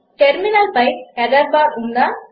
టర్మినల్పై error bar ఉందా